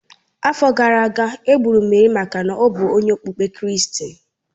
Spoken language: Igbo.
Afọ gara aga, e gburu Merị maka ọ bụ onye okpukpe kristi